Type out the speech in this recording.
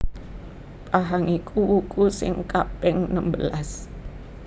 Pahang iku wuku sing kaping nembelas